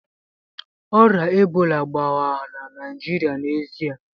Ọrịa Ebola gbanwere Naịjirịa n'ezie